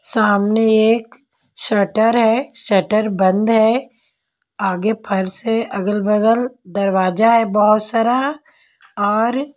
सामने एक शटर है शटर बंद है आगे फर्श है अगल-बगल दरवाजा है बहुत सारा और--